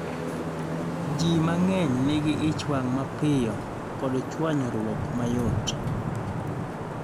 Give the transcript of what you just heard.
ji mang'eny nigi ich wang' mapiyo kod chuanyruok mayot